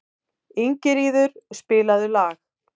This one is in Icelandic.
Ingiríður, spilaðu lag.